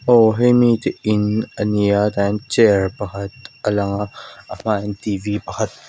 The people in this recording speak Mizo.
aw hemi chu in ania tah hian chair pakhat a lang a a hmâah hian t v pakhat a--